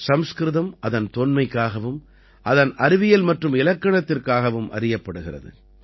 சம்ஸ்கிருதம் அதன் தொன்மைக்காகவும் அதன் அறிவியல் மற்றும் இலக்கணத்திற்காகவும் அறியப்படுகிறது